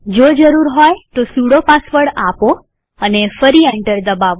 જો જરૂર હોય તો સુડો પાસવર્ડ આપો અને ફરી એન્ટર દબાવો